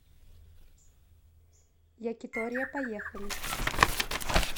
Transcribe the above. якитория поехали